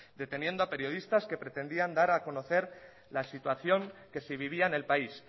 deteniendo a periodistas que pretendían dar a conocer la situación que se vivía en el país